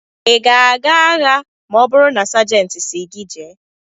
Ị ga-aga agha ma ọ bụrụ na Sajentị sị gị jee?